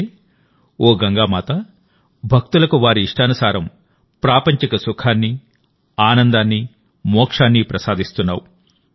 అంటేఓ గంగామాతా భక్తులకు వారి ఇష్టానుసారం ప్రాపంచిక సుఖాన్ని ఆనందాన్ని మోక్షాన్ని ప్రసాదిస్తున్నావు